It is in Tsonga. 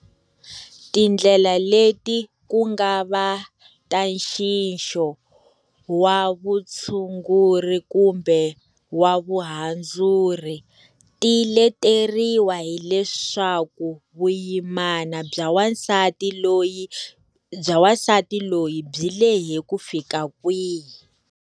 Tindlela leti, ku nga va ta nxixo wa vutshunguri kumbe wa vuhandzuri, ti leteriwa hi leswaku vuyimana bya wansati loyi byi lehe kufika kwihi.